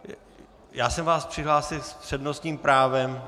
Já jsem vás přihlásil s přednostním právem.